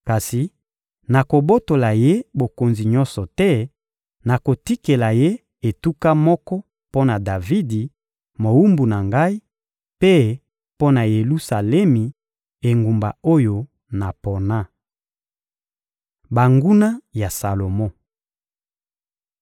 Kasi nakobotola ye bokonzi nyonso te; nakotikela ye etuka moko mpo na Davidi, mowumbu na Ngai, mpe mpo na Yelusalemi, engumba oyo napona.» Banguna ya Salomo